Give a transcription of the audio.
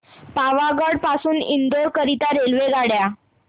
पावागढ पासून इंदोर करीता रेल्वेगाड्या